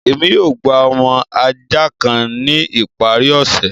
Ẹmi yóò gbà ọmọ ajá kàn ni ìparí òṣẹ